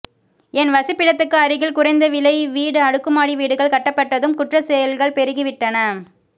என் வசிப்பிடத்துக்கு அருகில் குறைந்த விலை வீடு அடுக்குமாடி வீடுகள் கட்டப்பட்டதும் குற்றச் செயல்கள் பெருகி விட்டன